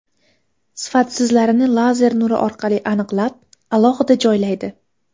Sifatsizlarini lazer nuri orqali aniqlab, alohida joylaydi.